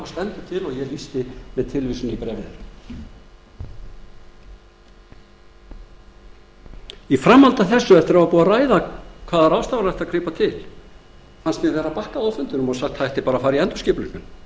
stendur til og ég lýsti með tilvísun í bréf þeirra í framhaldi af þessu eftir að búið var að ræða hvaða ráðstafana ætti að grípa til fannst mér vera bakkað á fundinum og sagt að það ætti bara að fara í endurskipulagningu